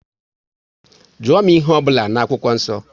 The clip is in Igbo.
Jụọ m ihe ọ bụla n'akwụkwọ nsọ!